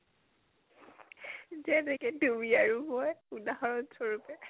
যেনেকে তুমি আৰু মই, উদাহৰণ স্বৰূপে